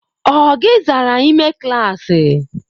O o gi zara ime klaasị?